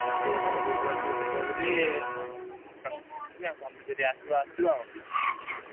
ସିଏ କଣ କହୁଥିଲା ଟିକେ ଯିବ ବୋଲି ।